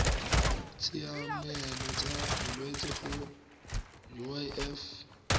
ditshiamelo tsa bolwetsi go uif